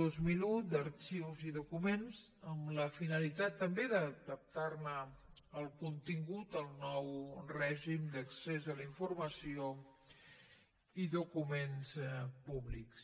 dos mil un d’arxius i documents amb la finalitat també d’adaptar ne el contingut al nou règim d’accés a la informació i documents públics